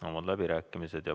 Avan läbirääkimised.